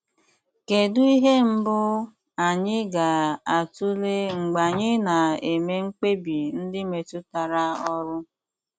Kedụ ihe mbụ anyị ga - atụle mgbe anyị na - eme mkpebi ndị metụtara ọrụ?